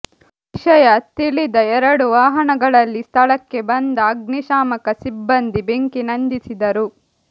ವಿಷಯ ತಿಳಿದ ಎರಡು ವಾಹನಗಳಲ್ಲಿ ಸ್ಥಳಕ್ಕೆ ಬಂದ ಅಗ್ನಿಶಾಮಕ ಸಿಬ್ಬಂದಿ ಬೆಂಕಿ ನಂದಿಸಿದರು